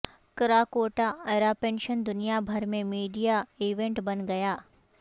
Krakatoa eruption دنیا بھر میں میڈیا ایونٹ بن گیا